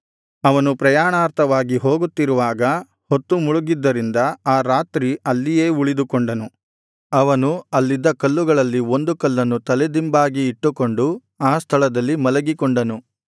ಅವನು ಪ್ರಯಾಣಾರ್ಥವಾಗಿ ಹೋಗುತ್ತಿರುವಾಗ ಹೊತ್ತು ಮುಳುಗಿದ್ದರಿಂದ ಆ ರಾತ್ರಿ ಅಲ್ಲಿಯೇ ಉಳಿದುಕೊಂಡನು ಅವನು ಅಲ್ಲಿದ್ದ ಕಲ್ಲುಗಳಲ್ಲಿ ಒಂದು ಕಲ್ಲನ್ನು ತಲೆದಿಂಬಾಗಿ ಇಟ್ಟುಕೊಂಡು ಆ ಸ್ಥಳದಲ್ಲಿ ಮಲಗಿಕೊಂಡನು